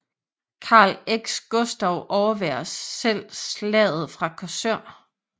Karl X Gustav overværer selv slaget fra Korsør